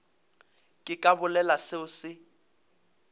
ke ka bolela seo se